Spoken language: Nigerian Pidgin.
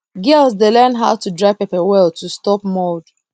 girls dey learn how to dry pepper well to stop mold